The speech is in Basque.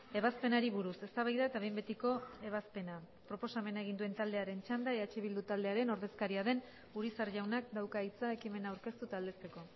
ebazpenari buruz eztabaida eta behin betiko ebazpena proposamena egin duen taldearen txanda eh bildu taldearen ordezkaria den urizar jaunak dauka hitza ekimena aurkeztu eta aldezteko